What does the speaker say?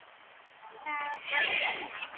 Ó þá fögru steina.